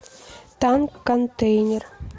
танк контейнер